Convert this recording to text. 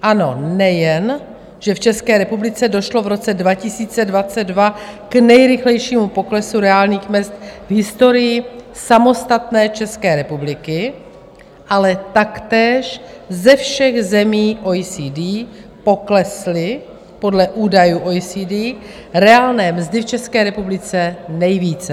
Ano, nejen že v České republice došlo v roce 2022 k nejrychlejšímu poklesu reálných mezd v historii samostatné České republiky, ale taktéž ze všech zemí OECD poklesly podle údajů OECD reálné mzdy v České republice nejvíce.